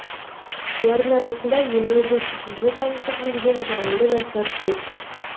олардың арасында елімізді шетелде танытып жүрген жалынды жастар көп